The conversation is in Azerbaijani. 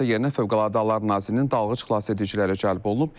Hadisə yerinə Fövqəladə Hallar Nazirliyinin dalğıc xilasediciləri cəlb olunub.